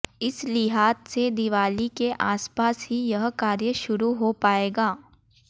इस लिहाज से दीवाली के आसपास ही यह कार्य शुरू हो पायेग